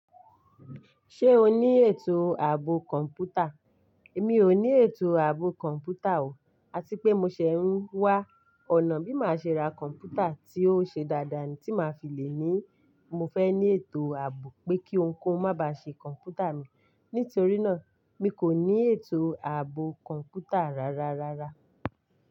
Ṣé o ní ètò ààbò kọ̀ǹpútà? Èmi ò ní ètò ààbò kọ̀ǹpútà o. Àti pé mo ṣẹ̀ ń wá ọ̀nà bí máa ṣe ra kọ̀ǹpútà tí ó ṣe dáadáa tí máa fi lè ní. Mo fẹ́ ní ètò ààbò pé kí ohunkóhun má bá ṣe kọ̀ǹpútà mi. Nítorí náà mi kò ní ètò ààbò kọ̀ǹpútà rárárárá.